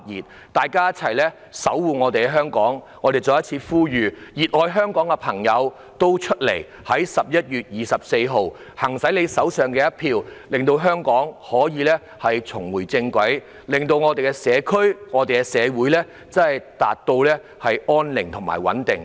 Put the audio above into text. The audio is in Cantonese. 請大家一起守護香港，讓我再一次呼籲，熱愛香港的朋友走出來，在11月24日用手上的一票令香港重回正軌，令我們的社區和社會回復安寧和穩定。